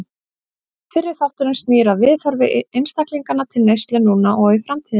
Fyrri þátturinn snýr að viðhorfi einstaklinganna til neyslu núna og í framtíðinni.